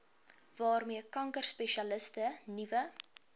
waarmee kankerspesialiste nuwe